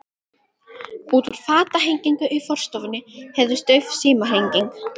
Úr fatahenginu í forstofunni heyrðist dauf símhringing.